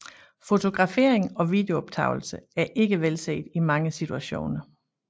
Fotografering og videooptagelser er ikke velset i mange situationer